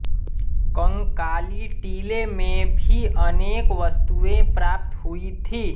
कंकाली टीले में भी अनेक वस्तुएँ प्राप्त हुई थीं